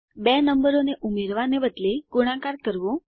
બે નંબરોને ઉમેરવા ને બદલે ગુણાકાર કરવું